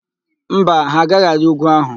Mba, ha agaghị arị úgwú ahụ.